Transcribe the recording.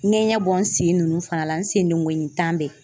Ŋɛɲɛ bɔ n sen ninnu fana la n sendenkɔni kan bɛɛ